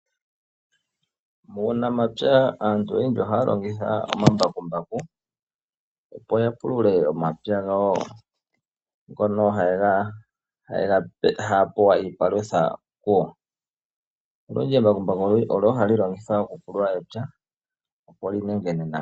Muunamapya aantu oyendji ohaya longitha omambakumbaku opo ya pulule omapya gawo ngono haya pewa iipalutha kugo. Embakumbaku olyo hali longithwa okupulula epya opo li nengene nawa.